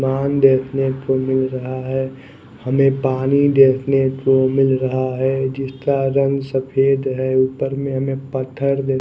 देखने को मिल रहा है हमे पानी देखने को मिल रहा है जिसका रंग सफ़ेद है ऊपर में हमे पत्थर --